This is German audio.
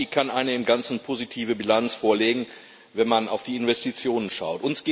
Ja, EFSI kann eine im Ganzen positive Bilanz vorlegen, wenn man auf die Investitionen schaut.